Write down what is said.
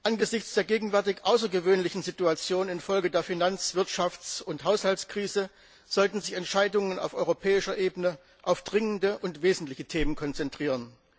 Angesichts der gegenwärtig außergewöhnlichen Situation infolge der Finanz Wirtschafts und Haushaltskrise sollten sich Entscheidungen auf europäischer Ebene auf dringende und wesentliche Themen konzentrieren.